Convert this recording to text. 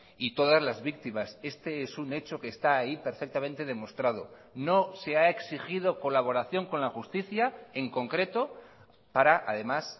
y todas las víctimas este es un hecho que está ahí perfectamente demostrado no se ha exigido colaboración con la justicia en concreto para además